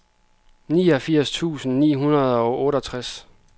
niogfirs tusind ni hundrede og otteogtres